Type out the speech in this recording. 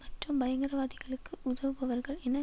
மற்றும் பயங்கரவாதிகளுக்கு உதவுபவர்கள் என